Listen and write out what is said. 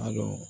A dɔn